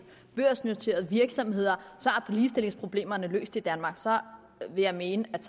børsnoterede virksomheder er ligestillingsproblemerne løst i danmark så vil jeg mene at